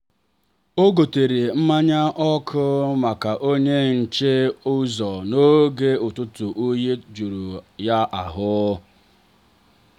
o gotere mmanya ọkụ maka onye nche ụzọ n'oge ụtụtụ oyi juru ya ahụ.